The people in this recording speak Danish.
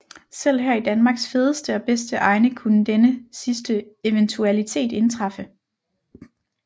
Selv her i Danmarks fedeste og bedste egne kunne denne sidste eventualitet indtræffe